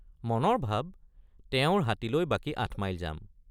মনৰ ভাব তেওঁৰ হাতী লৈ বাকী ৮ মাইল যাম।